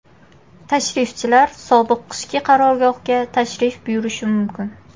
Tashrifchilar sobiq qishki qarorgohga tashrif buyurishi mumkin.